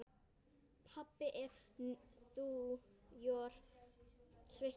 Pabbi er úr sveit.